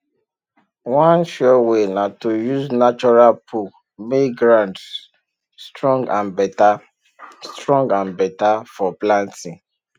one sure way na to use natural poo make ground strong and better strong and better for planting